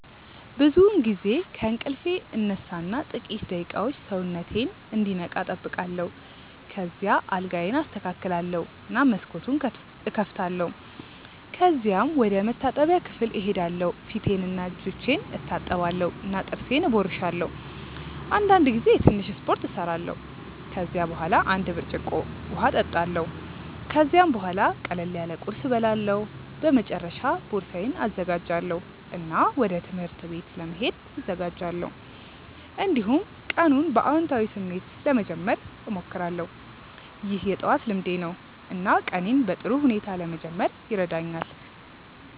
ብዙውን ጊዜ ከእንቅልፌ እነሳ እና ጥቂት ደቂቃዎች ሰውነቴን እንዲነቃ እጠብቃለሁ። ከዚያ አልጋዬን አስተካክላለሁ እና መስኮቱን እከፍታለሁ። ከዚያም ወደ መታጠቢያ ክፍል እሄዳለሁ ፊቴንና እጆቼን እታጠባለሁ እና ጥርሴን እቦርሳለሁ። አንዳንድ ጊዜ ትንሽ ስፖርት እሰራለሁ። ከዚያ በኋላ አንድ ብርጭቆ እጠጣለሁ። ከዚያም ቡሃላ ቅለል ያለ ቁርስ እበላለሁ። በመጨረሻ ቦርሳዬን እዘጋጃለሁ እና ወደ ትምህርት ቤት ለመሄድ እዘጋጃለሁ። እንዲሁም ቀኑን በአዎንታዊ ስሜት ለመጀመር እሞክራለሁ። ይህ የጠዋት ልምዴ ነው እና ቀኔን በጥሩ ሁኔታ ለመጀመር ይረዳኛል።